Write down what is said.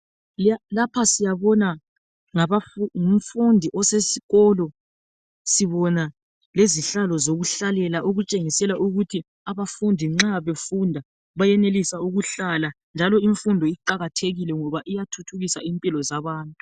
Lapha siyabona ngumfundi osesikolo sibona lezihlalo zokuhlalela okutshengisela ukuthi abafundi nxa befunda bayenelisa ukuhlala njalo imfundo iqakathekile ngoba iyathuthukisa impilo zabantu.